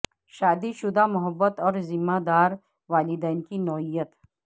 شادی شدہ محبت اور ذمہ دار والدین کی نوعیت